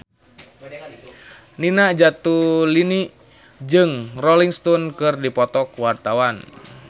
Nina Zatulini jeung Rolling Stone keur dipoto ku wartawan